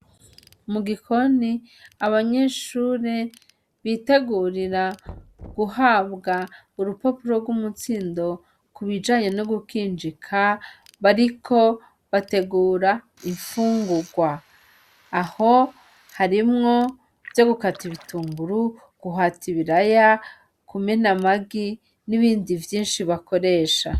Mugikoni abanyeshuri bitegurira guhabwa urupapuro rw'umutsindo kubijanye no gukinjika bariko bategura infungurwa; aho harimwo ivyo gukata ibitunguru, guhata ibiraya , kumena amagi, n'ibindi vyinshi bakoresha.